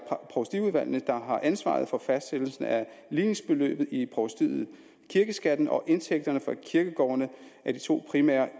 provstiudvalgene der har ansvaret for fastsættelsen af ligningsbeløbet i provstiet kirkeskatten og indtægterne fra kirkegårdene er de to primære